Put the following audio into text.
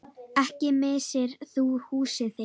Ekki missir þú húsið þitt.